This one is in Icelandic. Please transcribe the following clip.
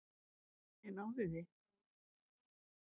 Ég náði því.